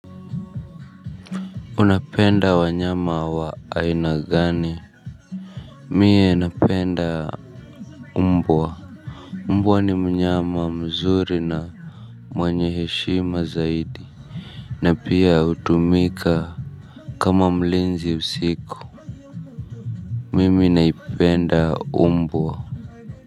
Unapenda wanyama wa aina gani. Mie napenda. Umbwa. Umbwa ni mnyama mzuri na mwenye heshima zaidi. Na pia utumika kama mlinzi usiku. Mimi naipenda umbwa.